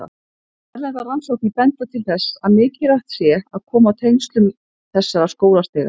Erlendar rannsóknir benda til þess að mikilvægt sé að koma á tengslum þessara skólastiga.